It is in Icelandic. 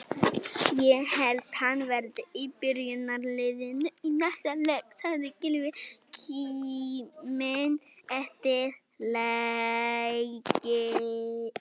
Ég held að hann verði í byrjunarliðinu í næsta leik, sagði Gylfi kíminn eftir leikinn.